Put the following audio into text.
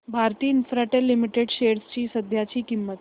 Bharti Infratel limited shares ची सध्याची किंमत